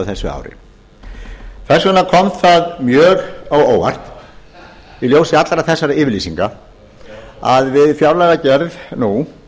þessu ári þess vegna kom það mjög á óvart í ljósi allra þessara yfirlýsinga að við fjárlagagerð nú